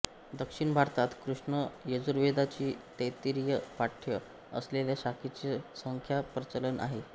दक्षिण भारतात कृष्ण यजुर्वेदाची तैत्तिरीय पाठ्य असलेल्या शाखेचे सध्या प्रचलन आहे